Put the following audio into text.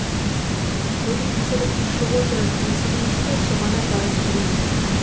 мен қазір ұшып отырып мысығыңызды соған апарып келейін